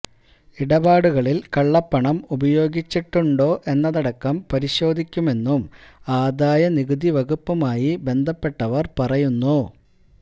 ഇടപാടുകളില് കള്ളപ്പണം ഉപയോഗിച്ചിട്ടുണ്ടോ എന്നതടക്കം പരിശോധിക്കുമെന്നും ആദായ നികുതി വകുപ്പുമായി ബന്ധപ്പെട്ടവര് പറയുന്നു